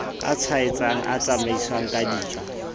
a tshwaetsang a tsamaiswang kedijo